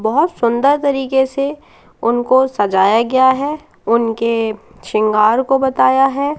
बहोत सुंदर तरीके से उनको सजाया गया है उनके सिंगार को बताया है।